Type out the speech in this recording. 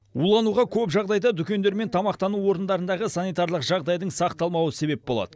улануға көп жағдайда дүкендер мен тамақтану орындарындағы санитарлық жағдайдың сақталмауы себеп болады